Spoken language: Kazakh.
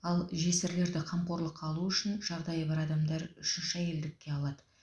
ал жесірлерді қамқорлыққа алу үшін жағдайы бар адамдар үшінші әйелдікке алады